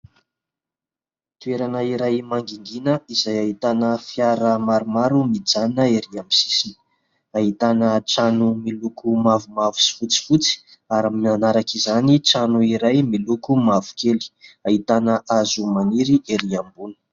Toerana iray mangingina izay ahitana fiara maromaro mijanona erỳ amin'ny sisiny. Ahitana trano miloko mavomavo sy fotsifotsy ary manaraka izany trano iray miloko mavokely. Ahitana hazo maniry erỳ ambony.